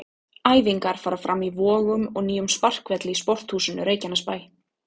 Æfingar fara fram í Vogum og nýjum sparkvelli í Sporthúsinu Reykjanesbæ.